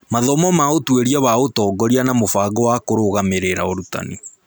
Mathomo ma ũtuĩria wa ũtongoria na mũbango wa kũrũgamĩrĩra ũrutani